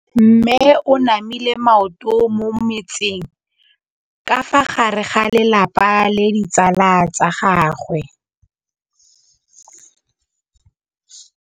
Mme o namile maoto mo mmetseng ka fa gare ga lelapa le ditsala tsa gagwe.